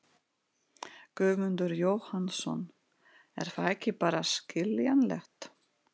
Guðmundur Jóhannsson: Er það ekki bara skiljanlegt?